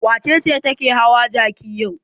Wace ce take hawa jaki yau?